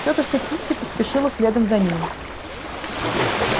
тётушка питти поспешила следом за ними